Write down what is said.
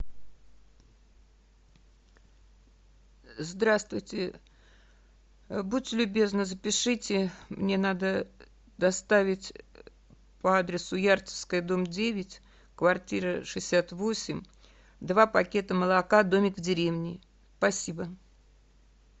здравствуйте будьте любезны запишите мне надо доставить по адресу ярцевская дом девять квартира шестьдесят восемь два пакета молока домик в деревне спасибо